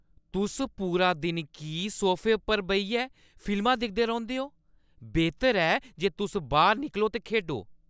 तुस पूरा दिन की सोफे पर बेहियै फिल्मां दिखदे रौंह्‌दे ओ? बेह्तर ऐ जे तुस बाह्‌र निकलो ते खेढो!